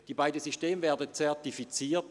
Die beiden Systeme werden zertifiziert.